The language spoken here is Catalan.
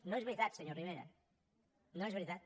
no és veritat senyor rivera no és veritat